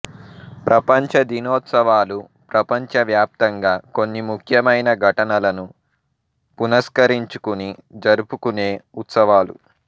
ప్రపంచ దినోత్సవాలు ప్రపంచ వ్యాప్తంగా కొన్ని ముఖ్యమైన ఘటనలను పునస్కరించుకుని జరుపుకునే ఉత్సవాలు